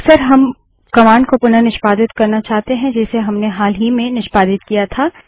अक्सर हम कमांड को पुनः निष्पादित करना चाहते हैं जिसे हमने हाल ही में निष्पादित किया था